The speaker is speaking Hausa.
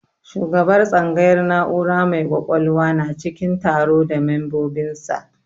Shugabar tsangayar na'ura mai kwakwalwa na cikin taro da membobin sa